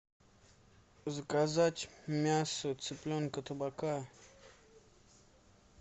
заказать мясо цыпленка табака